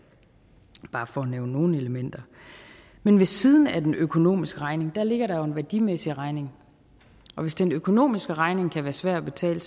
for nævne nogle elementer men ved siden af den økonomiske regning ligger der jo en værdimæssig regning og hvis den økonomiske regning kan være svær at betale